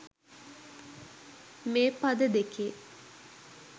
මේ පද දෙකේ.